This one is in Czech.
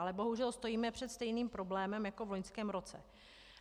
Ale bohužel stojíme před stejným problémem jako v loňském roce.